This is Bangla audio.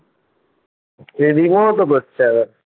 এ জীবন ও তো